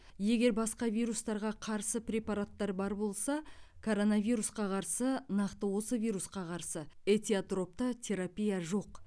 егер басқа вирустарға қарсы препараттар бар болса коронавирусқа қарсы нақты осы вирусқа қарсы этиотропты терапия жоқ